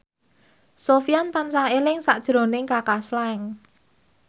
Sofyan tansah eling sakjroning Kaka Slank